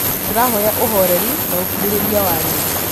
Tũrahoya uhoreri na ũkirĩ rĩ ria wanyu